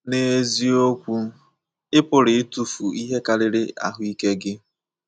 N’eziokwu, ị pụrụ ịtụfu ihe karịrị ahụ ike gị.